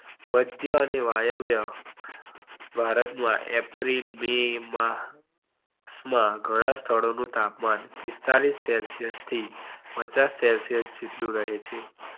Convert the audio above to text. મધ્ય અને વાયવ્ય ભારત માં એપ્રિલ બે માં માં ઘણા શાલો નું તાપમાન પિસ્તાળીશ celsius થી પચાસ celsius સીધું રહે છે.